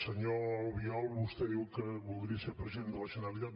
senyor albiol vostè diu que voldria ser president de la generalitat